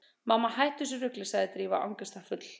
Mamma, hættu þessu rugli- sagði Drífa angistarfull.